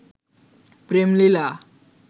প্রেম লীলা